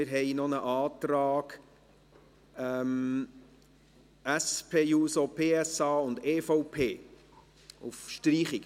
Wir haben auch einen Antrag SP-JUSO-PSA und EVP auf Streichung.